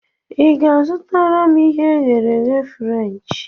I ga-azụtara m ihe e ghere eghe Frenchi?